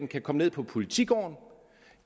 kan komme ned på politigården og